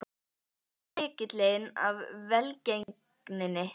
Hver er lykillinn að velgengninni?